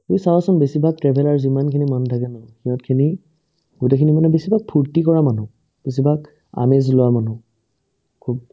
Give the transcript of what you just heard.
তুমি চাৱাচোন বেছিভাগ traveller যিমানখিনি মানুহ থাকে ন সিহঁতখিনি গোটেইখিনি মানে বেছিভাগ ফুৰ্তি কৰা মানুহ বেছিভাগ আমেজ লোৱা মানুহ খুব